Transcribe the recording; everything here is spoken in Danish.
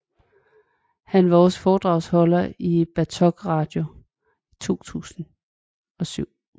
Han var også foredragsholder på Bartok Radio til 2007